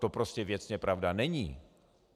To prostě věcně pravda není.